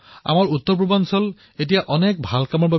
আমাৰ উত্তৰ পূৰ্বাঞ্চল বিভিন্ন শ্ৰেষ্ঠ কৰ্মৰ বাবে পৰিচিত